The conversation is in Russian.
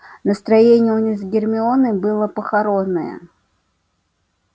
настроение у них с гермионой было похоронное